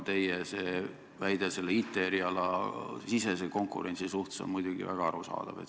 Teie väide, et näiteks IT eriala puhul pole konkurents aus, on muidugi väga arusaadav.